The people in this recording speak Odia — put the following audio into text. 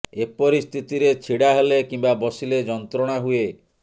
ଏପରି ସ୍ଥିତିରେ ଛିଡ଼ା ହେଲେ କିମ୍ବା ବସିଲେ ଯନ୍ତ୍ରଣା ହୁଏ